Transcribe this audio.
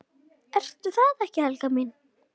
Ertu það ekki, Helga mín?